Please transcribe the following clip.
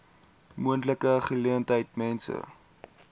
moontlike geleentheid mense